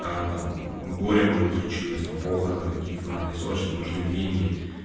а там горе может случилось там похороны какие-то надо и срочно нужны деньги